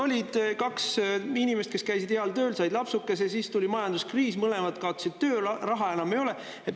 Olid kaks inimest, kes käisid heal tööl ja said lapsukese, siis tuli majanduskriis ja mõlemad kaotasid töö, raha enam ei ole.